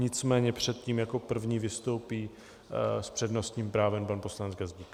Nicméně předtím jako první vystoupí s přednostním právem pan poslanec Gazdík.